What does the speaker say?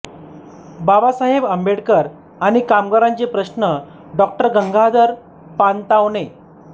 बाबासाहेब आंबेडकर आणि कामगारांचे प्रश्न डॉ गंगाधर पानतावणे